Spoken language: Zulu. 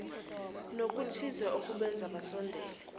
nokuthile okubenza basondelane